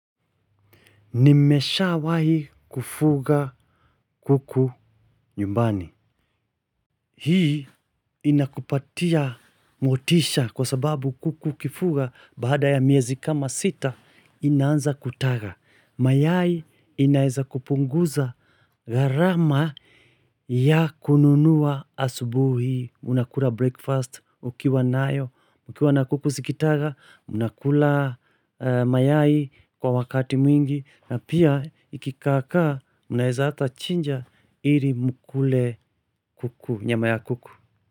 Nimeshawahi kufuga kuku nyumbani. Hii inakupatia motisha kwa sababu kuku ukifuga baada ya miezi kama sita inaanza kutaga. Mayai inaeza kupunguza gharama ya kununua asubuhi. Unakula breakfast ukiwa nayo, ukiwa na kuku zikitaga, unakula mayai kwa wakati mwingi. Na pia ikikaakaa mnaeza hata chinja ili mkule kuku nyama ya kuku.